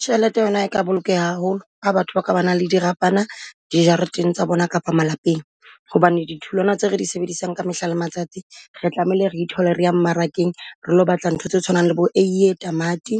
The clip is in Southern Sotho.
Tjhelete yona e ka bolokeha haholo ha batho ba ka ba na le dirapana dijareteng tsa bona kapa malapeng. Hobane di tholwana tse re di sebedisang ka mehla le matsatsi, re tlamehile re ithole re ya mmarakeng, re lo batla ntho tse tshwanang le bo eiye, tamati,